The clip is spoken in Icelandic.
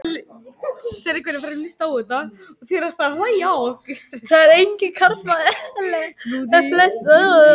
Það er engum karlmanni eðlilegt að ferðast óvopnaður yfir höf og lönd.